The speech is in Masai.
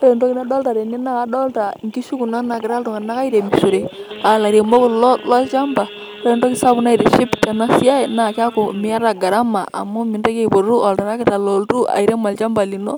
Ore entoki nadolta tene na kadolta inkishu kuna nagira iltung'anak airemishore, alairemok kulo lolchamba. Ore entoki sapuk naitiship tenasiai, na keeku miata garama amu mintoki aipotu oltarakita loltu airem olchamba lino.